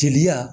Jeliya